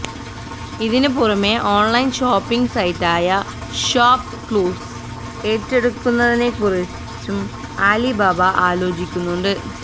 ഇതിനു പുറമെ online shopping സൈറ്റായ ഷോപ് ക്ലൂസ് ഏറ്റെടുക്കുന്നതിനെക്കുറിച്ചും ആലിബാബ ആലോചിക്കുന്നുണ്ട്